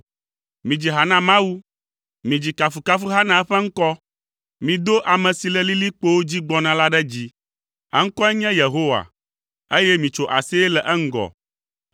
Midzi ha na Mawu, midzi kafukafuha na eƒe ŋkɔ, mido ame si le lilikpowo dzi gbɔna la ɖe dzi, eŋkɔe nye Yehowa, eye mitso aseye le eŋgɔ;